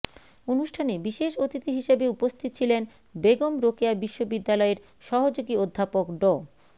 অনুষ্ঠানে বিশেষ অতিথি হিসেবে উপস্থিত ছিলেন বেগম রোকেয়া বিশ্ববিদ্যালয়ের সহযোগী অধ্যাপক ড